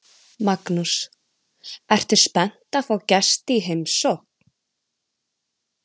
Magnús: Ertu spennt að fá gesti í heimsókn?